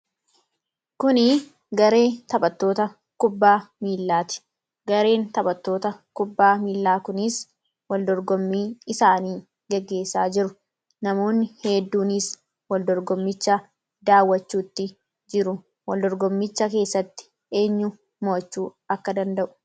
Kun garee taphattoota kubbaa miilaati. Gareen taphattoota kubbaa miilaa kunis waldorgommii isaanii gaggeessaa jiru. Namoonni hedduunis wal dorgommicha daawwachuutti jiru. Waldorgommicha keessatti eenyu mo'achuu akka danda'u ibsa.